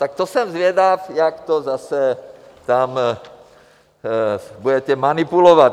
Tak to jsem zvědav, jak to tam zase budete manipulovat.